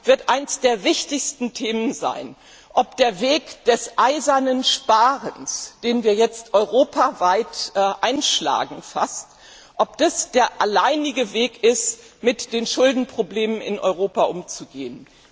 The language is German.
wird eines der wichtigsten Themen sein, ob der Weg des eisernen Sparens, den wir jetzt fast europaweit einschlagen, der alleinige Weg ist, mit den Schuldenproblemen in Europa umzugehen.